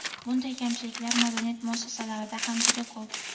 Bunday kamchiliklar madaniyat muassasalarida ham juda ko‘p.